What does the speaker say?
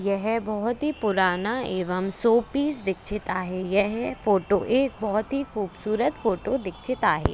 यह बहुत ही पुराना एवंम शोपीस दिखचित आहे. यह फोटो एक बहुत ही खूबसूरत फोटो दिचित दिखचीत आहे.